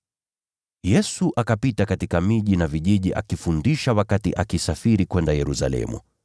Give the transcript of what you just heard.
Yesu akapita katika miji na vijiji, akifundisha wakati alisafiri kwenda Yerusalemu.